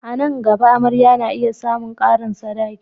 A nan gaba, amarya na iya samun karin sadaki.